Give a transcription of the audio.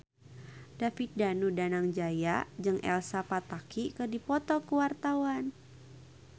David Danu Danangjaya jeung Elsa Pataky keur dipoto ku wartawan